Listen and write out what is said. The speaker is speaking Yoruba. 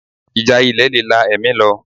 Ìjà ilẹ̀ le la ẹ̀mí lọ